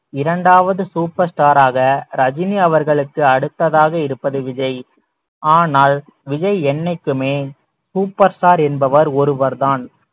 இரண்டாவது சூப்பர் ஸ்டாராக ரஜினி அவர்களுக்கு அடுத்ததாக இருப்பது விஜய் ஆனால் விஜய் என்னைக்குமே சூப்பர் ஸ்டார் என்பவர் ஒருவர் தான்